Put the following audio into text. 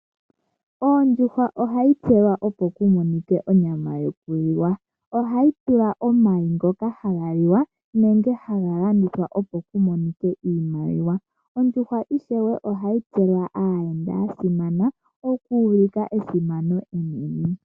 Oondjuhwa ohaipewa opokumonike onyama yokuliwa. Ohaivala omayi goka hagaliwa nenge hagalandwa opo kumonike iimaliwa. Ondjuhwa ishewe ohaipewa aayenda yasimana okuulika esimano enene.